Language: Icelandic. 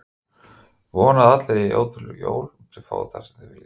Vona að allir eigi ótrúleg jól og þið fáið það sem þið viljið!